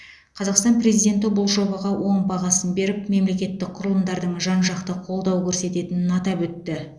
қазақстан президенті бұл жобаға оң бағасын беріп мемлекеттік құрылымдардың жан жақты қолдау көрсететінін атап өтті